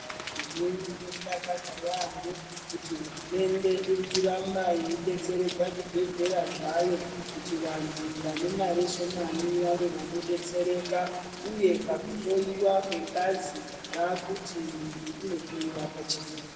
Zvinodakadza yampho kuti hurumende iri kuramba yeidetseredza zvibhedhleya zvayo kuti vantu vane mare shomani vave vanodetsereka, uye pakuhloiwa kwengazi vaakuti muntu unohloiwa pachena.